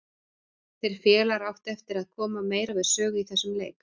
Þeir félagar áttu eftir að koma meira við sögu í þessum leik.